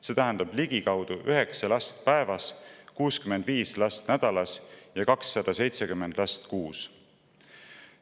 See tähendab ligikaudu 9 last päevas, 65 last nädalas ja 270 last kuus.